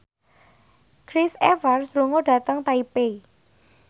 Chris Evans lunga dhateng Taipei